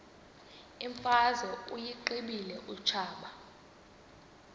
imfazwe uyiqibile utshaba